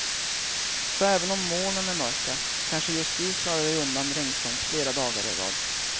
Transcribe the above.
Så även om molnen är mörka, kanske just du klarar dig undan regnstänk flera dagar i rad.